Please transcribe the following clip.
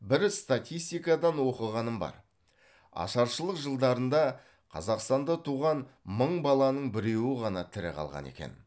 бір статистикадан оқығаным бар ашаршылық жылдарында қазақстанда туған мың баланың біреуі ғана тірі қалған екен